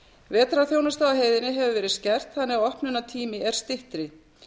vetrarþjónusta á heiðinni hefur verið skert þannig að opnunartími er styttri